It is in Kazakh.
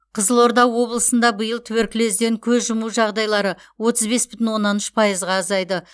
қызылорда облысында биыл туберкулезден көз жұму жағдайлары отыз бес бүтін оннан үш пайызға азайды